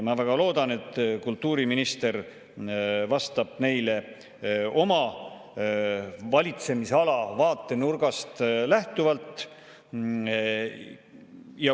Ma väga loodan, et kultuuriminister vastab neile oma valitsemisala vaatenurgast lähtuvalt.